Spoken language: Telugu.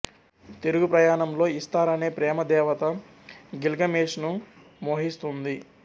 తిరుగుప్రయాణంలో ఇస్తార్ అనే ప్రేమ దేవత గిల్గమేష్ ను మోహిస్తుంది